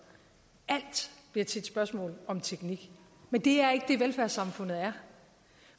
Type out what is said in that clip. alt bliver til et spørgsmål om teknik men det er ikke det velfærdssamfundet er